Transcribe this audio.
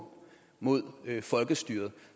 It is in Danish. mod folkestyret